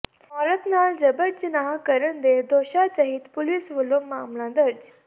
ਔਰਤ ਨਾਲ ਜਬਰ ਜਨਾਹ ਕਰਨ ਦੇ ਦੋਸ਼ਾਂ ਤਹਿਤ ਪੁਲਿਸ ਵਲੋਂ ਮਾਮਲਾ ਦਰਜ